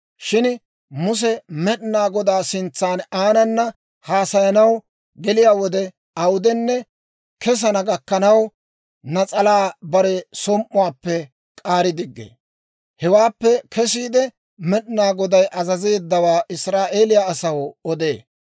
Shin Muse Med'inaa Godaa sintsa aanana haasayanaw geliyaa wode awudenne kesana gakkanaw, nas'alaa bare som"uwaappe k'aari diggee. Hewaappe kesiide, Med'inaa Goday azazeeddawaa Israa'eeliyaa asaw odee.